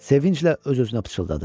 Sevinclə öz-özünə pıçıldadı: